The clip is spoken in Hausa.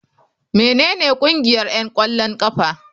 Menene ƙungiyar 'yan ƙwallon ƙafa?